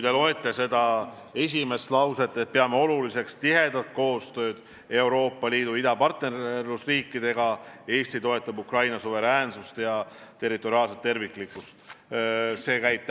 Lugege seda lauset, et me peame oluliseks tihedat koostööd Euroopa Liidu idapartnerluse riikidega ja et Eesti toetab Ukraina suveräänsust ja territoriaalset terviklikkust!